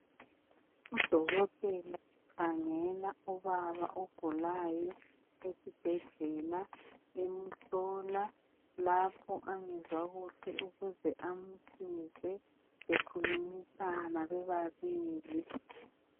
Udokotela ukhangela ubaba ogulayo esibhedlela emhlola lapho angezwa kuhle ukuze amsize bekhulumisana bebabili.